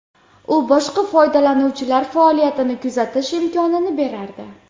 U boshqa foydalanuvchilar faoliyatini kuzatish imkonini berardi.